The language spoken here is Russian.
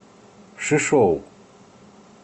шишоу